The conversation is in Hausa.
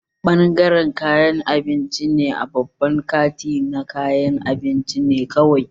Bangaren kayan abinci a babban kanti na kayan abinci ne kawai